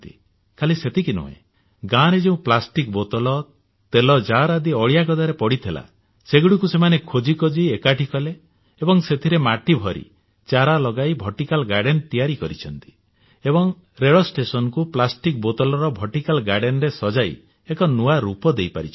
ଖାଲି ସେତିକି ନୁହେଁ ଗାଁରେ ଯେଉଁ ପ୍ଲାଷ୍ଟିକ ବୋତଲ ତେଲ ଜାର ଆଦି ଅଳିଆ ଗଦାରେ ପଡିଥିଲା ସେଗୁଡିକୁ ସେମାନେ ଖୋଜି ଖୋଜି ଏକାଠି କଲେ ଏବଂ ସେଥିରେ ମାଟିଭରି ଚାରା ଲଗାଇ ଭର୍ଟିକାଲ ଗାର୍ଡେନ ତିଆରି କରିଛନ୍ତି ଏବଂ ରେଳ ଷ୍ଟେସନକୁ ପ୍ଲାଷ୍ଟିକ ବୋତଲର ଭର୍ଟିକାଲ ଗାର୍ଡେନରେ ସଜାଇ ଏକ ନୂଆ ରୂପ ଦେଇ ପାରିଛନ୍ତି